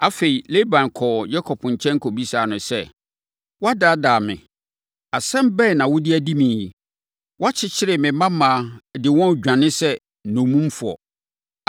Afei, Laban kɔɔ Yakob nkyɛn kɔbisaa no sɛ, “Woadaadaa me. Asɛm bɛn na wode adi me yi? Woakyekyere me mmammaa de wɔn redwane te sɛ nnommumfoɔ.